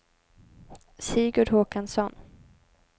Sigurd Håkansson